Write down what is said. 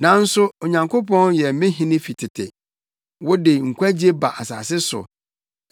Nanso Onyankopɔn yɛ me hene fi tete; wode nkwagye ba asase so.